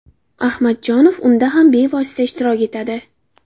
Ahmadjonov unda ham bevosita ishtirok etadi.